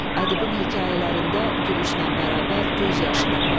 Ədibin hekayələrində gülüşlə bərabər göz yaşı da var.